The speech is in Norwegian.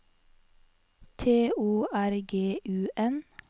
T O R G U N